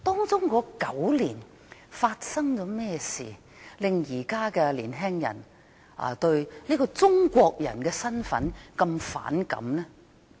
這9年發生了甚麼事，令現在的年輕人對中國人這個身份這麼反感？